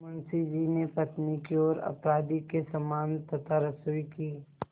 मुंशी जी ने पत्नी की ओर अपराधी के समान तथा रसोई की